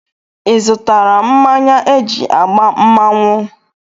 Ịzụtara mmanya eji agba mmanwụ?